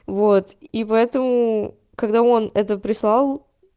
вот и поэтому когда он это прислал